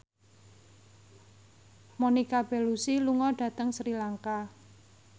Monica Belluci lunga dhateng Sri Lanka